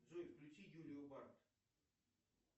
джой включи юлию барт